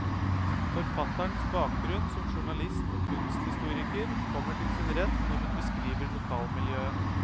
Forfatterens bakgrunn som journalist og kunsthistoriker kommer til sin rett når hun beskriver lokalmiljøet.